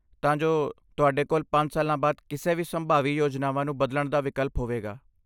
ਤਾਂ ਜੋ ਤੁਹਾਡੇ ਕੋਲ ਪੰਜ ਸਾਲਾਂ ਬਾਅਦ ਕਿਸੇ ਵੀ ਸੰਭਾਵੀ ਯੋਜਨਾਵਾਂ ਨੂੰ ਬਦਲਣ ਦਾ ਵਿਕਲਪ ਹੋਵੇਗਾ